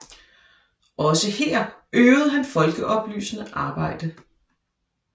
Også her øvede han folkeoplysende arbejde